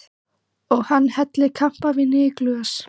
Og hann helli kampavíni í glös.